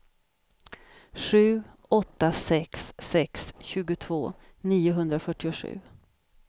sju åtta sex sex tjugotvå niohundrafyrtiosju